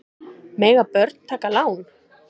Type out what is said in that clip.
Mega börn taka lán?